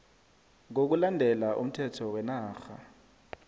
ngokulandela umthetho wenarha